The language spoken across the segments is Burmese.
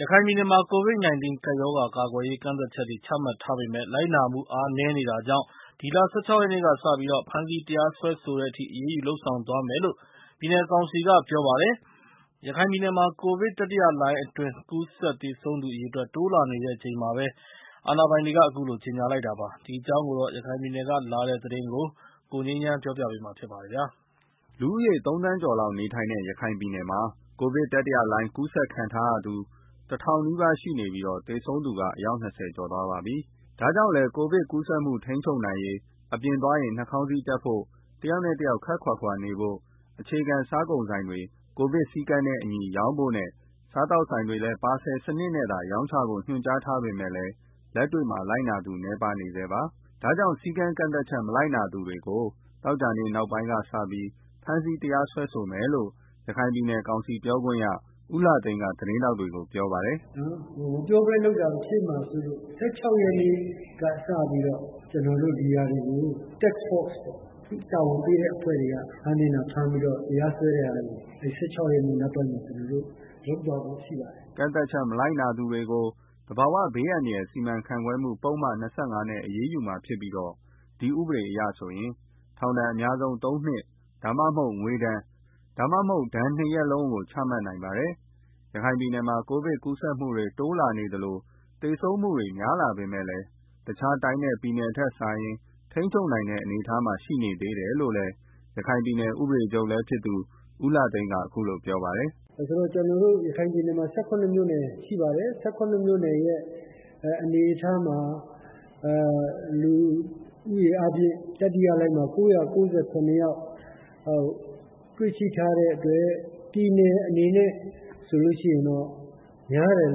ရခိုင်ပြည်နယ်မှာ COVID-19 ရောဂါကာကွယ်ရေး ကန့်သတ်ချက်တွေ ချမှတ်ထားပေမဲ့ လိုက်နာမှု အားနည်းနေတာကြောင့် ဒီလ ၁၆ ရက်နေ့ကစပြီး ဖမ်းဆီး တရားစွဲဆိုတဲ့ထိ အရေးယူ လုပ်ဆောင်သွားမယ်လို့ ပြည်နယ်ကောင်စီကပြောပါတယ်။ ရခိုင်ပြည်နယ်မှာ ကိုဗစ်တတိယလှိုင်းအတွင်း ကူးစက် သေဆုံးသူ အရေအတွက်က တိုးလာနေချိန်မှာပဲ အာဏာပိုင်တွေက အခုလိုကြေညာလိုက်တာပါ။ ဒီအကြောင်း ရခိုင်ပြည်နယ်က လာတဲ့ သတင်းကို ကိုငြိမ်းချမ်းက ပြောပြပါမယ်။ လူဦးရေ သုံးသန်းကျော်လောက်နေထိုင်တဲ့ ရခိုင်ပြည်နယ်မှာ ကိုဗစ် တတိယလှိုင်းအတွင်း ကူးစက်ခံထားရသူ ၁,၀၀၀ နီးပါးရှိနေပြီး သေဆုံးသူက အယောက် ၂၀ ကျော် ရှိသွားပါပြီ။ ဒါကြောင့်လည်း ကိုဗစ်ကူးစက်မှု ထိန်းချုပ်နိုင်ရေး အပြင်သွားရင် Mask တပ်ဖို့၊ တယောက်နဲ့တယောက် ခပ်ခွာခွာနေဖို့၊ အခြေခံစားကုန်ဆိုင်တွေ ကိုဗစ်စည်းကမ်းနဲ့အညီ ရောင်းဖို့နဲ့ စားသောက်ဆိုင်တွေလည်း ပါဆယ်စနစ်နဲ့သာ ရောင်းချဖို့ ညွန်ကြားထားပေမဲ့ လက်တွေ့မှာ လိုက်နာသူ နည်းနေဆဲပါ။ ဒါကြောင့် စည်းကမ်းကန့်သတ်ချက် မလိုက်နာသူတွေကို သောကြာနေ့ နောက်ပိုင်းကစပြီး ဖမ်းဆီး တရားစွဲဆိုမယ်လို့ ရခိုင်ပြည်နယ်ကောင်စီပြောခွင့်ရ ဦးလှသိန်းက သတင်းထောက်တွေကို ပြောပါတယ်။ “မပြောဘဲလုပ်တာ ဖြစ်မှာစိုးလို့၊ ၁၆ ရက်နေ့ကစပြီးတော့ ကျနော်တို့ ဒီဟာတွေကို တာဝန်ပေးတဲ့အဖွဲ့တွေက ဖမ်းသင့်တာ ဖမ်းပြီးတော့ တရားစွဲတဲ့ဟာတွေကို ၁၆ ရက်နေ့ နောက်ပိုင်းမှာ ကျနော်တို့ လုပ်သွားဖို့ ရှိပါတယ်။” ကန့်သတ်ချက် မလိုက်နာသူတွေကို သဘာဝဘေးအန္တရာယ် စီမံခန့်ခွဲမှုဥပဒေပုဒ်မ ၂၅ နဲ့အရေးယူမှာဖြစ်ပြီး ဒီဥပဒေအရဆိုရင် ထောင်ဒဏ် အများဆုံး ၃ နှစ် ဒါမှမဟုတ် ငွေဒဏ်၊ ဒါမှမဟုတ် ဒဏ်နှစ်ရပ်လုံး ချမှတ်နိုင်ပါတယ်။ ရခိုင်ပြည်နယ်မှာ ကိုဗစ်ကူးစက်မှုတွေ တိုးလာနေသလို သေဆုံးမှု များလာပေမဲ့ တခြားတိုင်းနဲ့ ပြည်နယ်တွေထက်စာရင် ထိန်းချုပ်နိုင်တဲ့ အနေအထားမှာ ရှိနေသေးတယ်လို့လည်း ရခိုင်ပြည်နယ် ဥပဒေချုပ်လည်းဖြစ်သူ ဦးလှသိန်းက ပြောပါတယ်။ “ဆိုတော့ ကျနော်တို့ ရခိုင်ပြည်နယ်မှာ ၁၇ မြို့နယ်ရှိပါတယ်။ ၁၇ မြို့နယ်ရဲ့ အနေအထားမှာ လူဦးရေအားဖြင့် တတိယလှိုင်းမှာ ၉၉၇ ယောက် တွေ့ရှိထားတဲ့အတွက် ပြည်နယ်အနေနဲ့ဆိုရင်တော့ များတယ်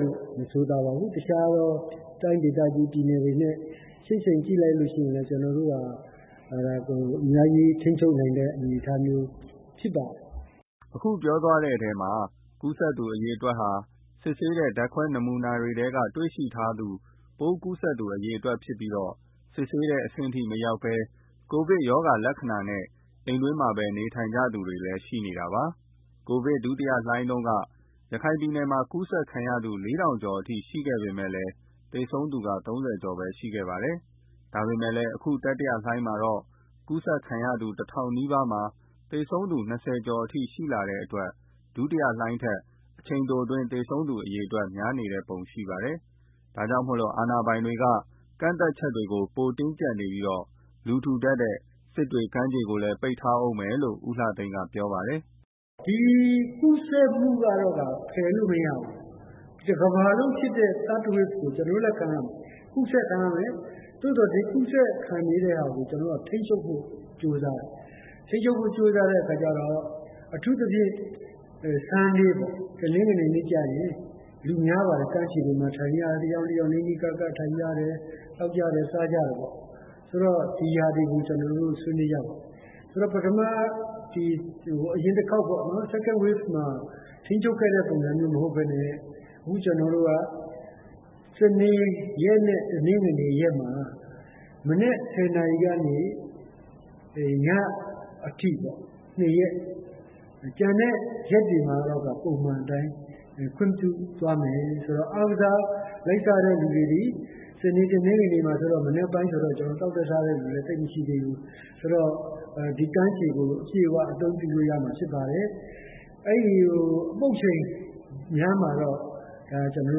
လို့မဆိုသာပါဘူး။ တခြားသော တိုင်းဒေသကြီး ပြည်နယ်တွေနဲ့ ယှဉ်ကြည့်လိုက်လို့ရှိရင်လည်း ကျနော်တို့ဟာ အများကြီး ထိန်းချုပ်နိုင်တဲ့ အနေအထားမျိုးဖြစ်ပါတယ်။” အခုပြောသွားတဲ့ ကူးစက်သူအရေအတွက်ဟာ စစ်ဆေးတဲ့ ဓာတ်ခွဲနမူနာတွေထဲကနေ တွေ့ရှိထားတဲ့ ပိုးကူးစက်သူအရေအတွက်ဖြစ်ပြီး စစ်ဆေးတဲ့အဆင့်ထိမရောက်ဘဲ ကိုဗစ်ရောဂါလက္ခဏာနဲ့ အိမ်တွင်းမှာပဲ နေထိုင်နေကြသူတွေလည်း ရှိနေတာပါ။ ကိုဗစ်ဒုတိယလှိုင်းတုံးကတော့ ရခိုင်ပြည်နယ်မှာ ကူးစက်ခံရသူ ၄,၀၀၀ ကျော်အထိရှိခဲ့ပေမယ့် သေဆုံးသူက ၃၀ ကျော်ပဲရှိခဲ့ပါတယ်။ ဒါပေမယ့်လည်း အခု တတိယလှိုင်းမှာတော့ ကူးစက်ခံရသူ ၁,၀၀၀ နီးပါးမှာ သေဆုံးသူ ၂၀ ကျော်အထိရှိတဲ့အတွက် ဒုတိယလှိုင်းထက် အချိန်တိုအတွင်း သေဆုံးသူအရေအတွက် များနေတဲ့ပုံ ရှိပါတယ်။ ဒါကြောင့်မို့ အာဏာပိုင်တွေက ကန့်သတ်ချက်တွေကို ပိုတင်းကျပ်နေပြီး လူထူထပ်တဲ့ စစ်တွေကမ်းခြေကိုလည်း ပိတ်ထားမယ်လို့ ဦးလှသိန်းက ပြောပါတယ်။ “ဒီကူးစက်မှုကတော့ ဖယ်လို့မရဘူး။ တကမ္ဘာလုံးဖြစ်တဲ့ Third Wave ကို ကျနော်တို့လည်း ခံရမယ်။ ဒီကူးစက်မှုတွေကို ကျနော်တို့က ထိန်းချုပ်ဖို့ ကြိုးစားတယ်။ အထူးသဖြင့် Sundayပေါ့၊ အဲဒီနေ့ကျရင် ကမ်းခြေတွေမှာ လူများပါတယ်။ တယောက်နဲ့ တယောက် နီးနီးကပ်ကပ်ထိုင်ကြတယ်။ သောက်ကြတယ်၊ စားကြတယ်ပေါ့။ ဒီဟာတွေကို ဆွေးနွေးကြတယ်။ ဆိုတော့ အရင်တခေါက် second wave မှာ ထိန်းချုပ်ခဲ့သလို မဟုတ်ဘဲ အခု ကျနော်တို့က စနေနဲ့ တနင်္ဂနွေရက်တွေမှာ မနက် ၁၀ နာရီကနေ ညအထိ၊ နှစ်ရက်ပေါ့ ကျန်တဲ့ရက်တွေမှာတော့ ပုံမှန်အတိုင်း ခွင့်ပြုသွားမယ်ဆိုတော့ အားကစားလိုက်စားတဲ့သူတွေလည်း ပိတ်ရက်ဆိုတော့ မနက်ပိုင်းဆိုတော့ သောက်တဲ့ စားတဲ့သူတွေလည်း သိပ်မရှိသေးဘူး။ ကမ်းခြေကို အပြည့်အဝ အသုံးပြုလို့ရမှာ ဖြစ်ပါတယ်။ ကျန်တဲ့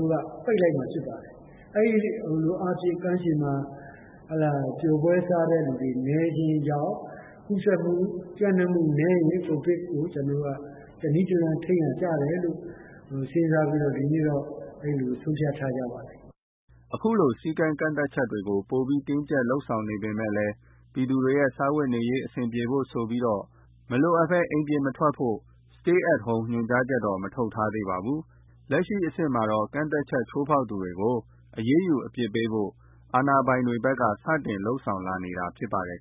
အချိန်ကို ပိတ်လိုက်တာကြောင့် ကမ်းခြေမှာ ပျော်ပွဲစားတဲ့သူတွေ နည်းခြင်းကြောင့် ကူးစက်မှု ပျံ့နှံ့မှုနည်းရင် ကျနော်တို့က တနည်းတလမ်း စဉ်းစားရာရောက်တယ်ဆိုပြီး ကျနော်တို့ ဆုံးဖြတ်ထားကြတာပါ။” အခုလို စည်းကမ်းကန့်သတ်ချက်တွေ ပိုပြီး တင်းကျပ် လုပ်ဆောင်နေပေမယ့် ပြည်သူတွေရဲ့ စားဝတ်နေရေး အဆင်ပြေဖို့ဆိုပြီး မလိုအပ်ဘဲ အိမ်ပြင်မထွက် Stay at Home ညွှန်ကြားချက် ထုတ်မထားသေးပါဘူး။ လက်ရှိအဆင့်မှာတော့ ကန့်သတ်ချက် ချိုးဖောက်သူတွေကို အရေးယူ အပြစ်ပေးဖို့ အာဏာပိုင်တွေဘက်က စတင် လုပ်ဆောင်လာနေတာလည်းဖြစ်ပါတယ်